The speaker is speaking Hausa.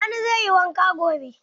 Sani zai yi wanka gobe.